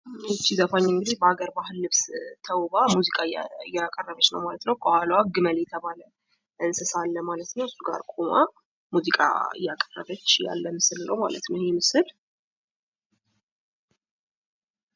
ይች ዘፋኝ እንግዲህ በሃገር ባህል ልብስ ተውባ ሙዚቃ እያቀረበች ነው ማለት ነው። ከኋለዋ ግመል የተባለ እንሰሳ አለ ማለት ነው። ከግመሉ ጋር ቁማ ሙዚቃ እያቀረበች ያለ ምስል ነው ማለት ነው። ይህ ምስል ።